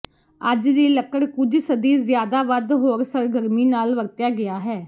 ਅੱਜ ਦੀ ਲੱਕੜ ਕੁਝ ਸਦੀ ਜ਼ਿਆਦਾ ਵੱਧ ਹੋਰ ਸਰਗਰਮੀ ਨਾਲ ਵਰਤਿਆ ਗਿਆ ਹੈ